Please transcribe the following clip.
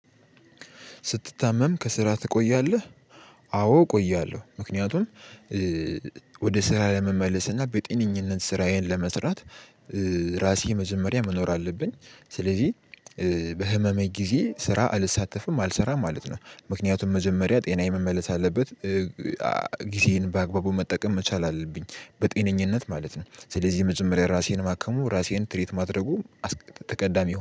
ስትታመም ከስራ ትቆያለህ? አዎ እቆያለሁ። ምክንያቱም ወደ ስራ ለመመለስ እና በጤንነት ስራዬን ለመስራት ራሴ መጀመሪያ መኖር አለብኝ። ስለዚህ በህመሜ ጊዜ ስራ አልሳተፍም አልሰራም ማለት ነው። ምክንያቱም መጀመሪያ ጤና የመመለስ አለበት። ጊዜን በአግባቡ መጠቀም መቻል አለብኝ በጤነኝነት ማለት ነው ስለዚህ የመጀመሪያ የራሴን ማከሙ ራሴን ትሪት ማድረጉ ተቀዳሚ